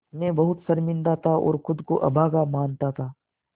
मैं बहुत शर्मिंदा था और ख़ुद को अभागा मानता था